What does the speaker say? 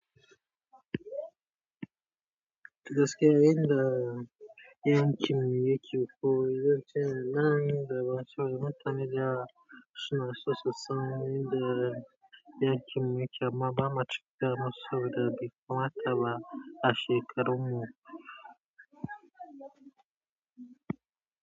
Das ke en da yankin mi yake koyo, zan ce nan da ban so da matan da suna so so sani da yankin muke amma bama cin nama so da bai kamata ba. A shekaron mu.